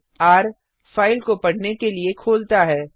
र - file को पढ़ने के लिए खोलता है